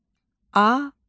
Aləm.